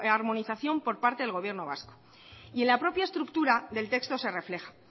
la armonización por parte del gobierno vasco y en la propia estructura del texto se refleja